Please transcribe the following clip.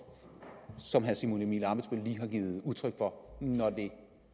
som herre simon emil ammitzbøll lige har givet udtryk for når det